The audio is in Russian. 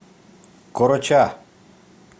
короча